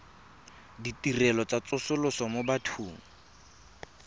ditirelo tsa tsosoloso mo bathong